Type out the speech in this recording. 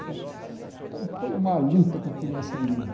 Então foi uma luta para criar esse menino.